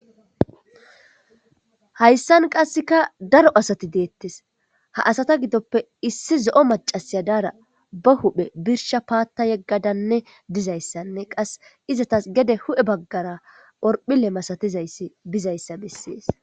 Hayssan qasseka daro asati deettes ha asata gidoppe issi zo.o macasiya daara ba huphe birsha paatta yeggadanne dizayssanne qas izatas gede hu7e baggara orphile masatizayssi bizayssa bessees.